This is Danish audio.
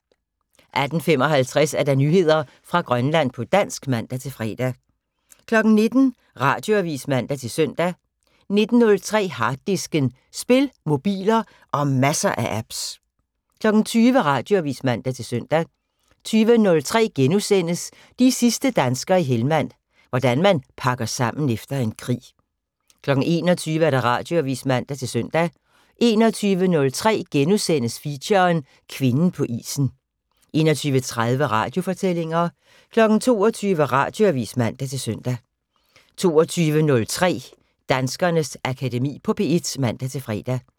18:55: Nyheder fra Grønland på dansk (man-fre) 19:00: Radioavis (man-søn) 19:03: Harddisken: Spil, mobiler og masser af apps 20:00: Radioavis (man-søn) 20:03: De sidste danskere i Helmand - hvordan man pakker sammen efter en krig * 21:00: Radioavis (man-søn) 21:03: Feature: Kvinden på isen * 21:30: Radiofortællinger 22:00: Radioavis (man-søn) 22:03: Danskernes Akademi på P1 (man-fre)